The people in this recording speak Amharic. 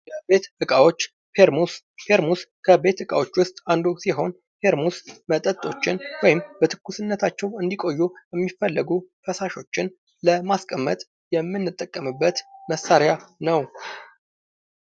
የቤት እቃዎች ፐርሙዝ ፐርሙዝ ከቤት እቃዎች ዉስጥ አንዱ ሲሆን ፐርሙዝ መጠጦችን ወይም በትኩስነታቸው እንዲቆዩ የሚፈለጉ ፈሳሾችን ለማስቀመጥ የምንጠቀምበት መሳሪያ ነው::